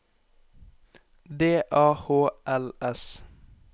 D A H L S